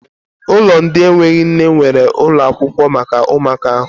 Ụlọ ndị enweghị nne nweere ụlọ akwụkwọ maka ụmụaka ahụ.